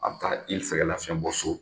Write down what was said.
A bɛ taa i sɛgɛlafiɲɛ bɔ so